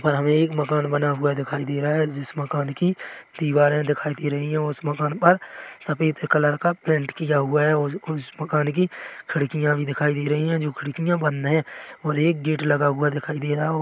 और हमे एक मकान बना हुआ दिखाई दे रहा है जिस मकान की दीवारे दिखाई दे रही है और उस मकान पर सफेद कलर का पेंट किया हुआ है और ज उस मकान की खिड़किया भी दिखाई दे रही है जो खिड़किया बंद है और एक गेट लगा हुआ दिखाई दे रहा है।